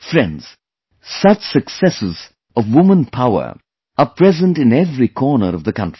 Friends, such successes of women power are present in every corner of the country